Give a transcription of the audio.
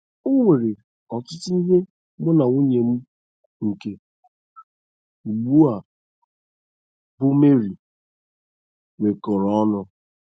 O nwere ọtụtụ ihe mụ na nwunye m nke ugbu a, bụ́ Mary, nwekọrọ ọnụ.